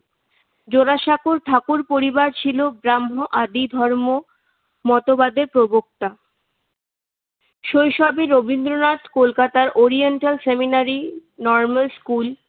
জোরাসাঁকোর ঠাকুর পরিবার ছিল ব্রাহ্ম আদি ধর্ম মতবাদের প্রবক্তা শৈশবে রবীন্দ্রনাথ কলকাতার ওরিয়েন্টাল সেমিনারি নর্মাল স্কুল